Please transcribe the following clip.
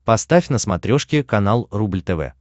поставь на смотрешке канал рубль тв